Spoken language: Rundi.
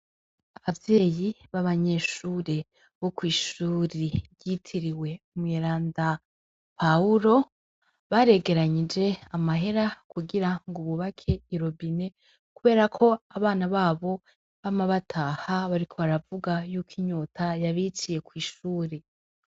Abavyeyi b'abanyeshure bo kw'ishure ryitiriwe umweranda Pawuro, baregeranyije amahera kugira ngo bubake irobine, kubera ko abana babo bama bataha bariko baravuga yuko inyota yabiciye kw'ishure.